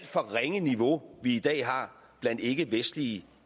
for ringe niveau vi i dag har blandt ikkevestlige